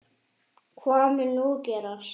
Hvað mun nú gerast?